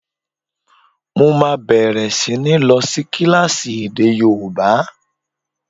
Mo máa bẹ̀rẹ̀ sí ní lọ sí kílásì èdè yóòbá